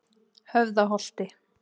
Höfðaholti